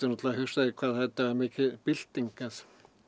hugsað þér hvað þetta var mikil bylting að